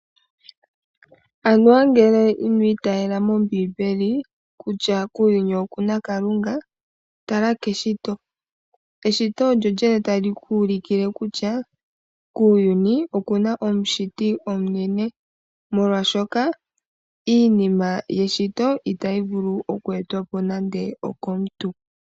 Anuwa ngele ino itaala mombiimbeli kutya kuuyuni oku na Kalunga, tala keshito. Eshito olyo lyene tali ku ulukile kutya kuuyuni oku na omushiti omunene molwaashoka iinima yeshito itayi vulu oku etwa po nande okomuntu.